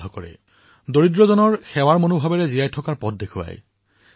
দৰিদ্ৰ নাৰায়ণৰ সেৱা এই মন্ত্ৰক জীৱনৰ মূলমন্ত্ৰ হিচাপে পালন কৰাৰ পথ প্ৰদৰ্শিত কৰিছে